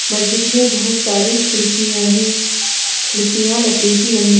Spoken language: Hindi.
मस्जिद में बहुत सारी खिड़कियां हैं खिड़कियां लकड़ी की बनी--